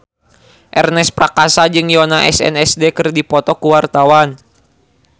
Ernest Prakasa jeung Yoona SNSD keur dipoto ku wartawan